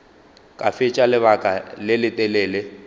ka fetša lebaka le letelele